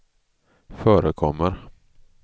förekommer